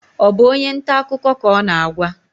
Ọ bụ onye nta akụkọ ka ọ na-agwa?